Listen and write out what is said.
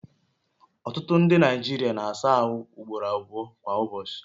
Ọtụtụ ndị Naijiria na-asa ahụ ugboro abụọ kwa ụbọchị